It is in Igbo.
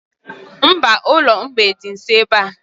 Mba, ụlọ mgbei dị nsọ ebea